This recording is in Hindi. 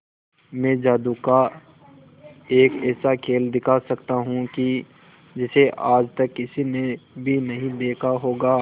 मैं जादू का एक ऐसा खेल दिखा सकता हूं कि जिसे आज तक किसी ने भी नहीं देखा होगा